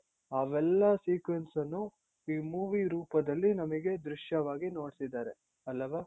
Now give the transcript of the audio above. ಅವೆಲ್ಲ sequence ಅನ್ನು ಈ movie ರೂಪದಲ್ಲಿ ನಮಿಗೆ ದೃಶ್ಯವಾಗಿ ನೋಡ್ಸಿದ್ದಾರೆ ಅಲ್ಲವಾ?